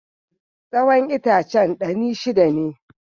Tsawon itacen ɗani shida ne.